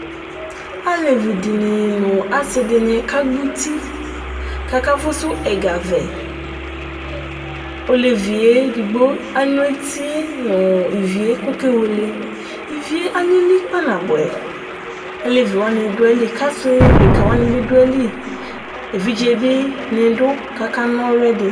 Alevidini nu asidini kagbɔ uti ku akafusu ɛga vɛ Ɔlevi edigbo alu etie nu ivie ku ɔkewele Ivie alili kpa nabuɛ Aleviwani du ayili ku ɔsidekawani bi du ayili Evidze bi ni du ku akana ɔlu yɛ di